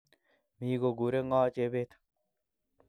Mi koguure ngo Chebet?